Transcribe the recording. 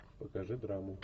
покажи драму